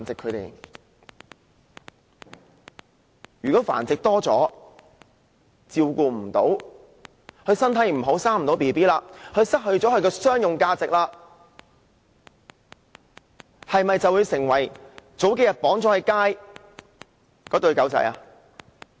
如果狗隻繁殖次數太多，獲得的照顧不夠，身體不好無法再生育，失去商業價值，會否成為數天前被綁在街上的一對狗隻？